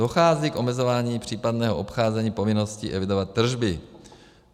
Dochází k omezování případného obcházení povinnosti evidovat tržby.